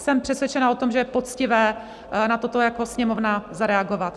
Jsem přesvědčená o tom, že je poctivé na toto jako Sněmovna zareagovat.